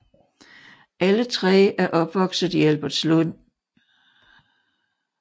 Alle tre er opvokset i Albertslund